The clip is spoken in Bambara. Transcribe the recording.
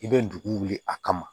I bɛ dugu wuli a kama